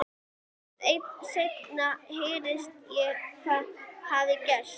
Seinna heyrði ég hvað hafði gerst.